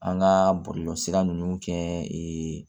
An ka bɔlɔlɔ sira ninnu kɛ